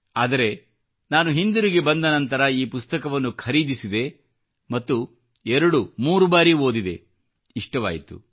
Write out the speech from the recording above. ಆದರೆ ನಾನು ಹಿಂದಿರುಗಿ ಬಂದನಂತರ ಈ ಪುಸ್ತಕವನ್ನು ನಾನು ಖರೀದಿಸಿದೆ ಮತ್ತು ಎರಡು ಮೂರು ಬಾರಿ ಓದಿದೆ ಇಷ್ಟವಾಯಿತು